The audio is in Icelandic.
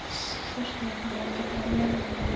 Sestu hérna og láttu fara vel um þig!